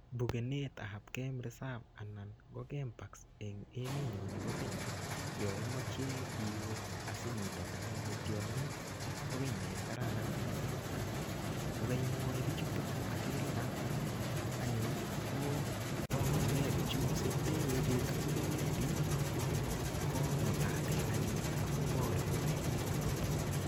Bukenetap game reserve anan ko game parks eng emet nyo nebo Kenya, yaimeche iwei asinyitonan tiongik, ko kiy ne kararan missing. Amu, kokaimwochi bichutok akilipan anyun, kopanganikei bichu. Sindewe betut nekewendi, komutaten anyun akoborun olotok.